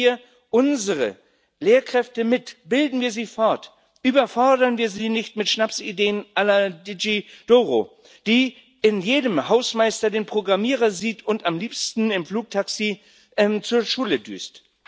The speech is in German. Nehmen wir unsere Lehrkräfte mit, bilden wir sie fort, überfordern wir sie nicht mit Schnapsideen la Digi Doro die in jedem Hausmeister den Programmierer sieht und am liebsten im Flugtaxi zur Schule düst.